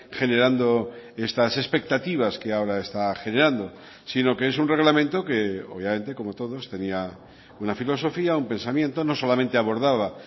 generando estas expectativas que ahora está generando sino que es un reglamento que obviamente como todos tenía una filosofía un pensamiento no solamente abordaba